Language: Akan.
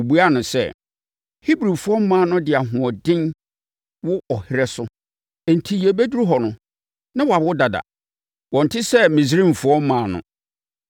Wɔbuaa no sɛ, “Hebrifoɔ mmaa no de ahoɔden wo ɔherɛ so enti yɛbɛduru hɔ no, na wɔawo dada. Wɔnte sɛ Misraimfoɔ mmaa no.”